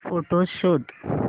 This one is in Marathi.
फोटोझ शोध